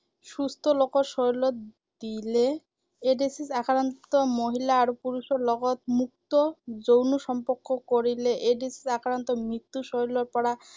সুস্থ লোকৰ শৰীৰত দিলে, এইড্‌ছ আক্ৰান্ত মহিলা আৰু পুৰুষৰ লগত মুক্ত যৌন সম্পৰ্ক কৰিলে। এইড্‌ছ আক্ৰান্ত ম্ত্য়ুৰ শৰীৰৰ পৰা